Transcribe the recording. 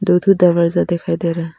दो ठो दरवाजा दिखाई दे रहा है।